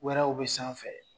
Wɛrɛw bɛ sanfɛ.